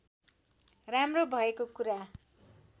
राम्रो भएको कुरा